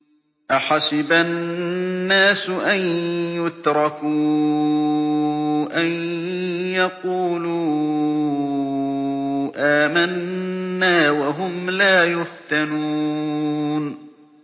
أَحَسِبَ النَّاسُ أَن يُتْرَكُوا أَن يَقُولُوا آمَنَّا وَهُمْ لَا يُفْتَنُونَ